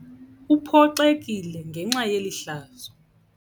Uphoxekile ngenxa yeli hlazo.